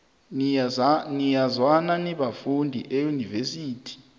niyazwana nibafundi eunivesithi